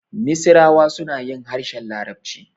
Misirawa suna yin harshen larabci.